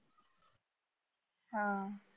हा